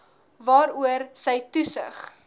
waaroor sy toesig